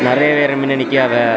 நறைய பேரு மின்ன நிக்கியாவ.